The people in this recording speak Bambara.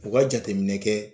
U ka jateminɛ kɛ